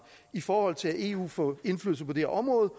i forhold til at eu får indflydelse på det her område